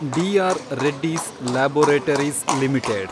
D R Reddy's laboratories limited